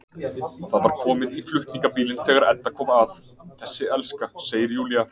Það var komið í flutningabílinn þegar Edda kom að, þessi elska, segir Júlía.